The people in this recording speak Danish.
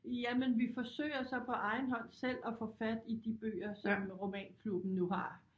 Jamen vi forsøger så på egen hånd selv at få fat i de bøger som romanklubben nu har